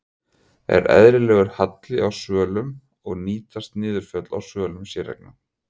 Er eðlilegur halli á svölum og nýtast niðurföll á svölum séreigna?